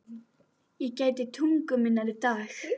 Ég gæti tungu minnar í dag.